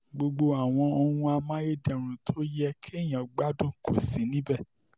gbogbo àwọn ohun amáyédẹrùn tó yẹ kéèyàn gbádùn kò sí níbẹ̀